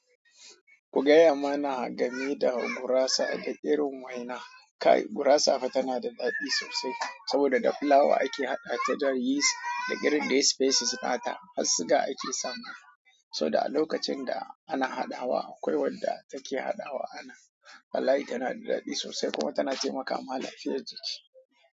Ku gaya mana game da gurasa da irin waina. Kai gurasa fa tana da daɗi sosai saboda da fulawa ake haɗa ta da yeast da green dai spaces fata, har siga ake samata. Saboda a lokacin da ana haɗawa akwai wadda take haɗawa anan. Wallahi tana da daɗi sosai kuma tana taimakawa lafiyar jiki.